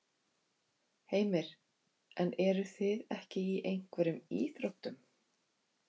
Heimir: En eruð þið ekki í einhverjum íþróttum?